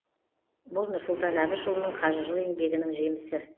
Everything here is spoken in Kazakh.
бұл нұрсұлтан әбішұлының қажырлы еңбегінің жемісі